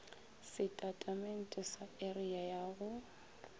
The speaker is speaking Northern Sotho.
setatamente sa area ya go